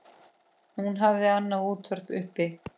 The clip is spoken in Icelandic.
Hann hafði annað útvarp uppi.